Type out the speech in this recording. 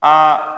Aa